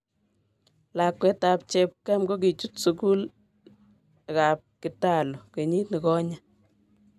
Lakwet ab cheb ab kam kokichut sukul ab kitalu kenyit negonye.